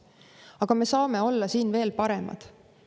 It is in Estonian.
Aga me saame siin veel paremad olla.